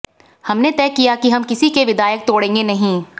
हमने तय किया कि हम किसी के विधायक तोड़ेंगे नही